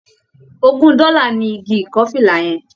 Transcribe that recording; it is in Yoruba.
Ògún dọ́là ni igi ìkọ́fìlà yẹn.